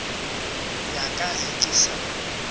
ya ka ge ke sa